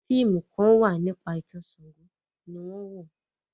fíìmù Kan wá nípa itan Ṣàngó ní wón wọ.